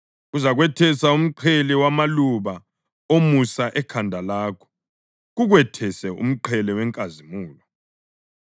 Kuzakwethesa umqhele wamaluba omusa ekhanda lakho kukwethese umqhele wenkazimulo.”